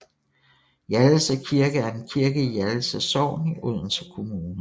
Hjallese Kirke er en kirke i Hjallese Sogn i Odense Kommune